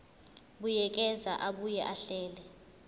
buyekeza abuye ahlele